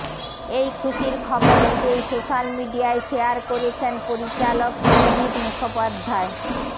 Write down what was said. এই খুশির খবর নিজেই সোশ্যাল মিডিয়ায় শেয়ার করেছেন পরিচালক সৃজিত মুখোপাধ্যায়